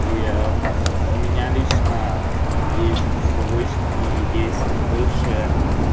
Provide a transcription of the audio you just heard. и у меня лично есть всевышний и есть высшее